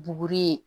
Buguri yen